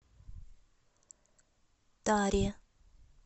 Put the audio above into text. таре